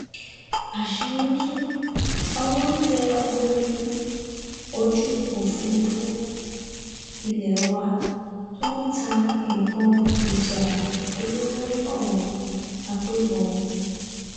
àṣírí tú owó tẹ ọmọ ogun ojú òfúrufú ilé wa tó ń ta nǹkan ìjà olóró fáwọn agbébọn